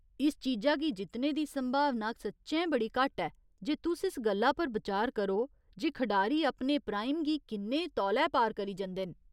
इस चीजा गी जित्तने दी संभावना सच्चैं बड़ी घट्ट ऐ जे तुस इस गल्ला पर बिचार करो जे खढारी अपने प्राइम गी किन्ने तौले पार करी जंदे न।